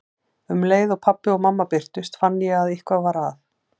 Um leið og pabbi og mamma birtast finn ég að eitthvað er að.